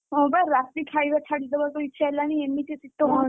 ହଁ ବା ରାତି ଖାଇବା ଛାଡି ଦବାକୁ ଇଚ୍ଛା ହେଲାଣି ଏମିତି ଶୀତ ହଉଛି।